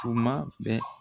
Tuma bɛɛ.